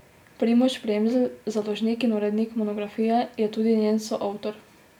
Primož Premzl, založnik in urednik monografije, je tudi njen soavtor.